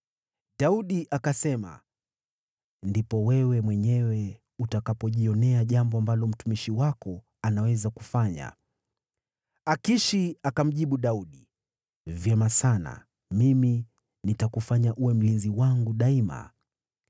Daudi akasema, “Ndipo wewe mwenyewe utakapojionea jambo ambalo mtumishi wako anaweza kufanya.” Akishi akamjibu Daudi, “Vyema sana, mimi nitakufanya uwe mlinzi wangu daima.”